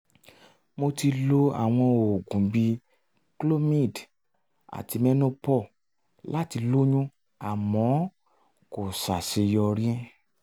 mo ti lo àwọn oògùn bíi clomid àti menopur láti lóyún àmọ́ kò sàṣeyọrí